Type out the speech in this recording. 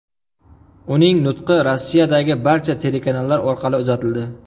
Uning nutqi Rossiyadagi barcha telekanallar orqali uzatildi.